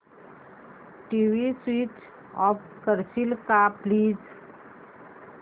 TV switch off करशील का please